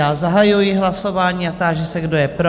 Já zahajuji hlasování a táži se, kdo je pro?